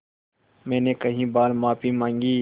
मैंने कई बार माफ़ी माँगी